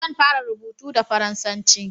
zan fara rubutu da faransanci